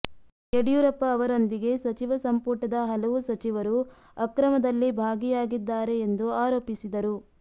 ಯಡಿಯೂರಪ್ಪ ಅವ ರೊಂದಿಗೆ ಸಚಿವ ಸಂಪುಟದ ಹಲವು ಸಚಿವರು ಅಕ್ರಮ ದಲ್ಲಿ ಭಾಗಿಯಾಗಿ ದ್ದಾರೆ ಎಂದು ಆರೋಪಿಸಿದರು